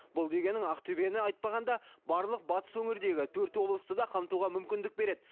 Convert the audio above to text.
бұл дегенің ақтөбені айтпағанда барлық батыс өңірдегі төрт облысты да қамтуға мүмкіндік береді